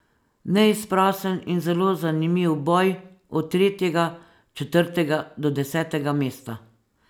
Neizprosen in zelo zanimiv boj od tretjega, četrtega do desetega mesta.